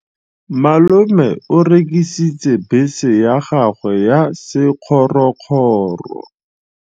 Malome o rekisitse bese ya gagwe ya sekgorokgoro.